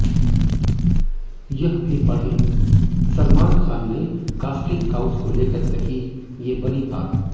यह भी पढ़ेंः सलमान खान ने कास्टिंग काउच को लेकर कही ये बड़ी बात